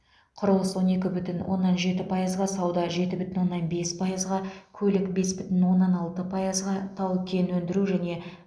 құрылыс он екі бүтін оннан жеті пайызға сауда жеті бүтін оннан бес пайызға көлік бес бүтін оннан алты пайызға тау кен өндіру және